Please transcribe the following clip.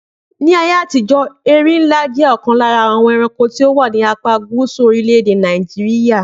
Ni ayé àtijó, erinlá jẹ́ ọ̀kan lára àwọn ẹranko tí ó wà ní apá Gúsù orílè èdè Nàìjíríà